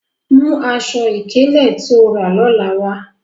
Mu àṣọ-ikele tó ó rà lọ́lá wa!